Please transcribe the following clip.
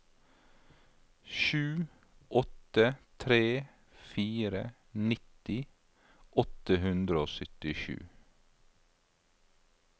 sju åtte tre fire nitti åtte hundre og syttisju